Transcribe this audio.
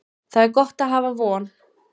Það er gott að hafa von.